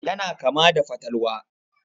Yana kama da fatalwa.